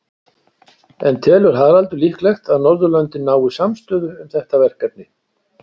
En telur Haraldur líklegt að Norðurlöndin nái samstöðu um þetta verkefni?